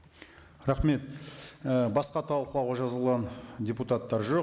рахмет ііі басқа талқылауға жазылған депутаттар жоқ